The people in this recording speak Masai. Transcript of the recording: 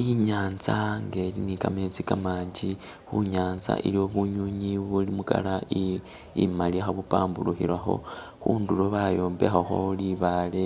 I'nyaanza nga ili ni kametsi kamangi, khu nyaanza iliwo bunywinywi buli mu colour i imali kha bupamburukhakho. Khundulo bayombekhakho libaale